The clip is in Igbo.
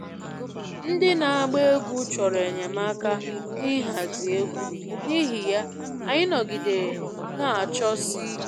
Ndị na-agba egwú chọrọ enyemaka n'ịhazi egwú, n'ihi ya, anyị nọgidere na-achọsi ike